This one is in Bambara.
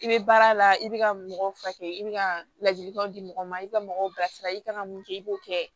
I bɛ baara la i bɛ ka mɔgɔw furakɛ i bɛ ka ladilikanw di mɔgɔw ma i bɛ ka mɔgɔw bilasira i ka kan ka mun kɛ i b'o kɛ